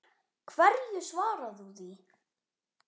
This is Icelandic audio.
Hverju svarar þú því?